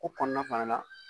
Ko kɔnɔna fana na